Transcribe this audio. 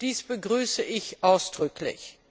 Dies begrüße ich ausdrücklich.